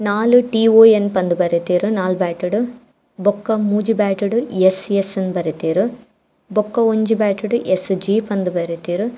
ನಾಲ್ ಟಿ ಒ ಎನ್ ಪಂದ್ ಬರೆತೆರ್ ನಾಲ್ ಬ್ಯಾಟ್ಡ್ ಬೊಕ್ಕ ಮೂಜಿ ಬ್ಯಾಟ್ ಡ್ ಎಸ್ಸ್ ಎಸ್ಸ್ ಇಂದ್ ಬರೆತೆರ್ ಬೊಕ ಒಂಜಿ ಬ್ಯಾಟ್ ಡ್ ಎಸ್ಸ್ ಜೆ ಪಂದ್ ಬರೆತೆರ್.